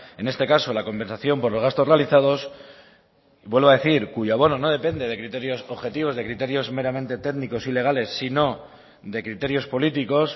en este caso la compensación por los gastos realizados vuelvo a decir cuyo abono no depende de criterios objetivos de criterios meramente técnicos y legales sino de criterios políticos